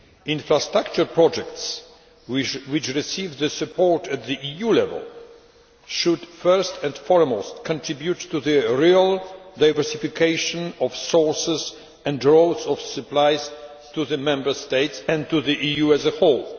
Infrastructure projects that receive support at EU level should first and foremost contribute to the real diversification of sources and routes of supplies to the Member States and to the EU as a whole.